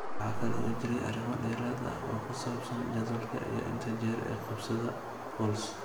Waxa kale oo jiray arrimo dheeraad ah oo ku saabsan jadwalka iyo inta jeer ee qabashada CoLs.